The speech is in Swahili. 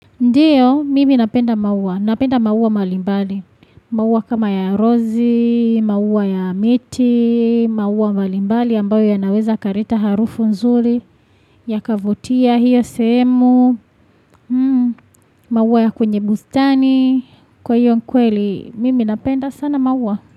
Ndiyo, mimi napenda maua. Napenda maua mbalimbali. Maua kama ya rozi, maua ya miti, maua mbalimbali ambayo yanaweza kaleta harufu nzuri, yakavutia hiyo sehemu, maua ya kwenye bustani, kwa hiyo kweli, mimi napenda sana maua.